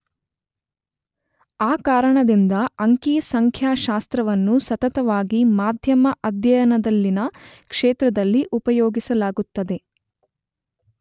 ಆ ಕಾರಣದಿಂದ ಅಂಕಿ ಸಂಖ್ಯಾಶಾಸ್ತ್ರವನ್ನು ಸತತವಾಗಿ ಮಾಧ್ಯಮ ಅಧ್ಯಯನದಲ್ಲಿನ ಕ್ಷೇತ್ರದಲ್ಲಿ ಉಪಯೋಗಿಸಲಾಗುತ್ತದೆ